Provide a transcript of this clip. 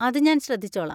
അത് ഞാൻ ശ്രദ്ധിച്ചോളാം.